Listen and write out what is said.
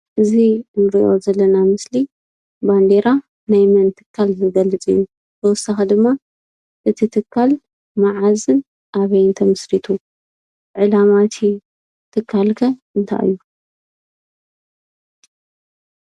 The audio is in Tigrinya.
እዙይ እንርእዮ ዘለና ምስሊ ባንዴራ ናይ መን ትካል ዝገልፅ እዩ? ብተወሳኪ ድማ እቲ ትካል መዓዝን ኣበይን ተመስሪቱ? ዕላማ እቲ ትካል ከ እንታይ እዩ?